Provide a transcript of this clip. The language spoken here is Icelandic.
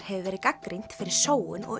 hefur verið gagnrýnt fyrir sóun og